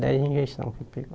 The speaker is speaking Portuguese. Dez injeções que pegou.